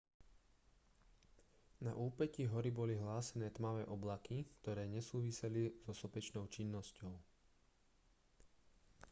na úpätí hory boli hlásené tmavé oblaky ktoré nesúviseli so sopečnou činnosťou